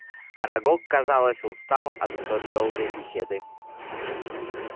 арагог казалось устал от столь долгой беседы